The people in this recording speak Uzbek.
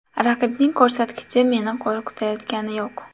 Raqibning ko‘rsatkichi meni qo‘rqitayotgani yo‘q.